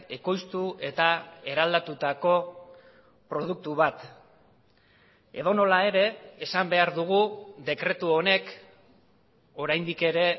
ekoiztu eta eraldatutako produktu bat edonola ere esan behar dugu dekretu honek oraindik ere